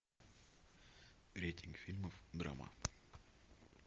рейтинг фильмов драма